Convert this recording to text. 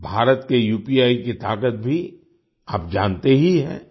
भारत के उपी की ताकत भी आप जानते ही हैं